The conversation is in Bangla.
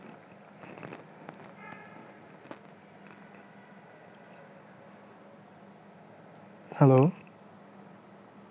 hello